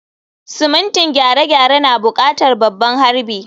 Simintin gyare-gyare na buƙatar babban harbi.